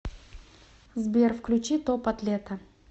сбер включи топ атлета